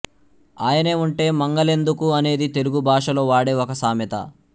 ఆయనే ఉంటే మంగలెందుకు అనేది తెలుగు భాషలో వాడే ఒక సామెత